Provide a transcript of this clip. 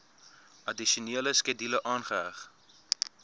addisionele skedule aangeheg